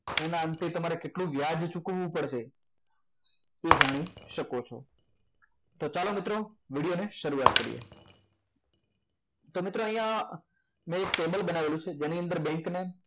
એના અંતે તમારે કેટલું વ્યાજ ચૂકવવું પડશે તે જાણી શકો છો તો ચાલો મિત્રો વીડિયોને શરૂઆત કરીએ તો અહીંયા મેં ટેબલ બનાવી છે જેની અંદર બેંકને